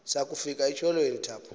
sakufika etyholweni thaphu